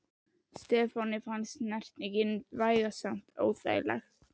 Stefáni fannst snertingin vægast sagt óþægileg.